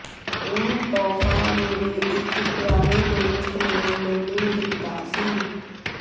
ਇਹ ਤੋਹਫ਼ਾ ਮੇਰੇ ਇੱਕ ਪਿਆਰੇ ਦੋਸਤ ਨੇ ਮੈਨੂੰ ਦਿੱਤਾ ਸੀ